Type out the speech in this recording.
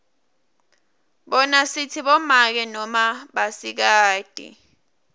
bona sitsi bomake noma basikati